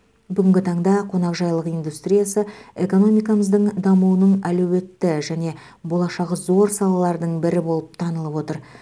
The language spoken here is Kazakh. бүгінгі таңда қонақжайлық индустриясы экономикамыздың дамуының әлеуетті және болашағы зор салалардың бірі болып танылып отыр